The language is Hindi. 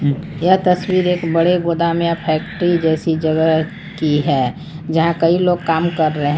यह तस्वीर एक बड़े गोदाम या फैक्ट्री जैसी जगह की है जहां कई लोग काम कर रहे हैं।